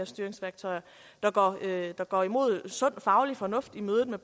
styringsværktøjer der går imod sund faglig fornuft i mødet med